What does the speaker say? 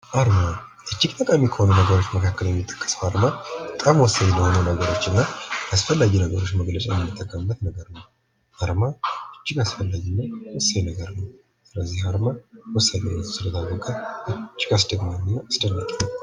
አርማ እጅግ ጠቃሚ ከሆኑ ነገሮች መካከል የሚጠቀሰው አርማ በጣም ወሳኝ ለሆኑ ነገሮችና አስፈላጊ ነገሮችን ለመግለጫነት የምንጠቀምበት አርማ እጅግ አስፈላጊና ወሳኝ ነገር ነው። አርማ እጅግ አስገራሚና አስደማሚ ከሚባሉ ነገሮች ውስጥ አንዱ ነው።